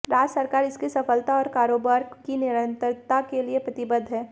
राज्य सरकार इसकी सफलता और कारोबार की निरंतरता के लिए प्रतिबद्ध है